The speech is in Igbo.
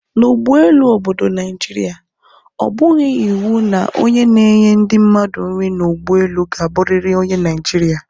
N' ụgbọelu obodo Naijiria, ọ bụghị iwu na onye na-enye ndị mmadụ nri n' ụgbọelu ka abụriri onye Naijirịa